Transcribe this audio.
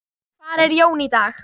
Hvar er Jón í dag?